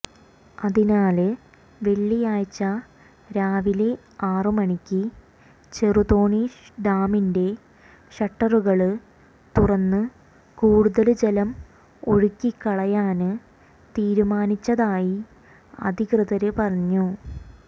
അതിനാല് വെള്ളിയാഴ്ച രാവിലെ ആറുമണിക്ക് ചെറുതോണി ഡാമിന്റെ ഷട്ടറുകള് തുറന്ന് കൂടുതല് ജലം ഒഴുക്കിക്കളയാന് തീരുമാനിച്ചതായി അധികൃതര് പറഞ്ഞു